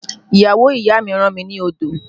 Ìyàwó ìyá mi rán mi ni odò